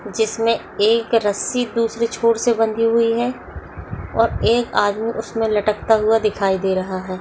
जिसमे एक रस्सी दूसरे छोर से बंधी हुई है और एक आदमी उसमे लटकता हुआ दिखाई दे रहा है।